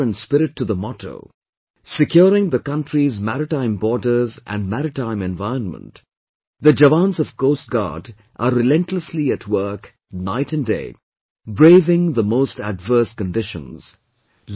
True in letter and spirit to the motto, securing the country's maritime borders and maritime environment, the jawans of Coast Guard are relentlessly at work night and day, braving the most adverse conditions